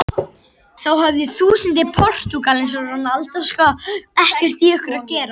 Þó höfðu þúsundir Portúgala ekkert í okkur að gera.